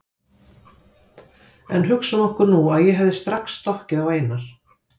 En hugsum okkur nú að ég hefði strax stokkið á Einar